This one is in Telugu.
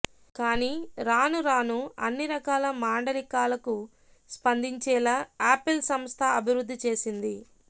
కానీ రాను రాను అన్ని రకాల మాండలికాలకు స్పందించేలా ఆపిల్ సంస్థ అభివృద్ధి చేసింది